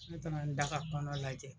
Ne taara n da ka kɔnɔ lajɛ.